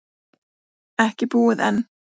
Ekki búið enn.